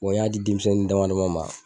o y'a di denmisɛnin dama dama ma.